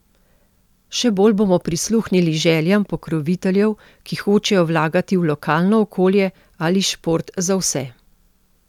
Še bolj bomo prisluhnili željam pokroviteljev, ki hočejo vlagati v lokalno okolje ali šport za vse.